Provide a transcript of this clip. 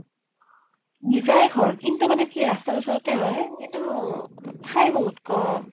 নিজায়ে ঘৰ । কিন্তু মানে কি, ৰাষ্টাৰ ওচৰতে হয়, কিন্তু ঠাই বহুত কʼম ।